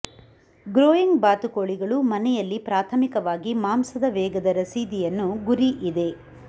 growing ಬಾತುಕೋಳಿಗಳು ಮನೆಯಲ್ಲಿ ಪ್ರಾಥಮಿಕವಾಗಿ ಮಾಂಸದ ವೇಗದ ರಸೀದಿಯನ್ನು ಗುರಿ ಇದೆ